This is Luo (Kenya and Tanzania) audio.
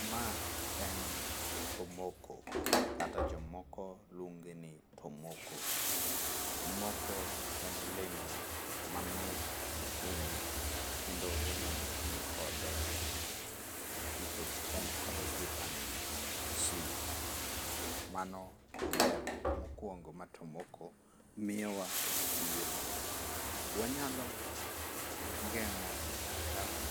Ma en tomoko, kata jomoko luonge ni tomoko. Tomoko en olemo mamit ahinya kendo wanyalo tiyo kode nikech en kod viatamin c. Mano ber mokwongo ma tomoko miyowa e kit ngimawa. Wanyalo geng'o